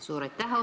Suur aitäh!